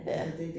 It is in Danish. Ja